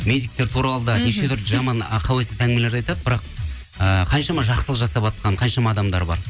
медиктер туралы да неше түрлі жаман ы қауесет әңгімелерді айтады бірақ ыыы қаншама жасылық жасап жатқан қаншама адамдар бар